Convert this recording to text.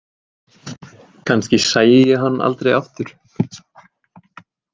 Kannski sæi ég hann aldrei aftur?